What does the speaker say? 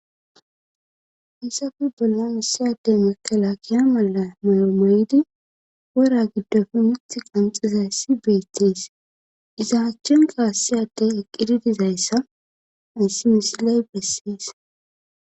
Hassafe bolla issiyadey makela kiya mala mayo mayidi wora giddofe mith qanxizayssi beettees iza hachchenkaassiyaddey eqqidi dizayssa ayssi misiley bessies